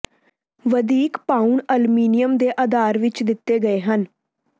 ਵਧੀਕ ਪਾਉਣ ਅਲਮੀਨੀਅਮ ਦੇ ਆਧਾਰ ਵਿੱਚ ਦਿੱਤੇ ਗਏ ਹਨ